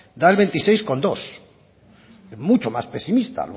da el veintiséis coma dos es mucho más pesimista a